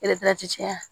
jɛya